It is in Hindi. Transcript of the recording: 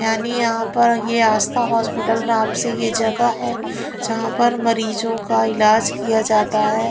यानी यहाँ पर ये आस्था हॉस्पिटल नाम से ये जगह है जहाँ पर मरीजों का इलाज किया जाता है।